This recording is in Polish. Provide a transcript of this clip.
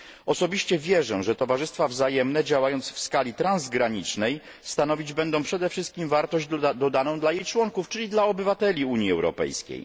Osobiście wierzę, że towarzystwa wzajemne działając w skali transgranicznej stanowić będą przede wszystkim wartość dodaną dla jej członków, czyli dla obywateli Unii Europejskiej.